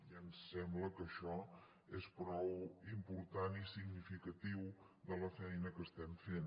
i ens sembla que això és prou important i significatiu de la feina que estem fent